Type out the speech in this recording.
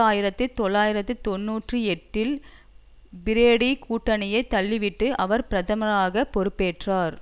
ஆயிரத்தி தொள்ளாயிரத்தி தொன்னூற்றி எட்டில் பிரோடி கூட்டணியை தள்ளிவிட்டு அவர் பிரதமராக பொறுப்பேற்றார்